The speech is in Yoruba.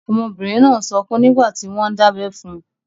Ọmọbìnrin náà n sọkún nígbàtí wọ́n n dábẹ́ fun.